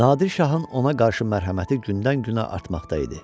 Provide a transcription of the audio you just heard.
Nadir Şahın ona qarşı mərhəməti gündən-günə artmaqda idi.